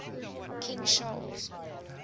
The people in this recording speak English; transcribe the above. king charles